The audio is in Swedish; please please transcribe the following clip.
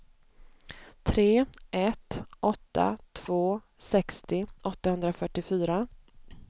tre ett åtta två sextio åttahundrafyrtiofyra